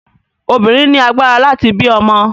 Obìnrin ni agbára láti bí ọmọ.